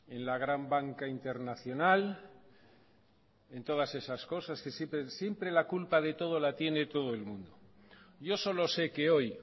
en la gran banca internacional en todas esas cosas siempre la culpa de todo la tiene todo el mundo yo solo se que hoy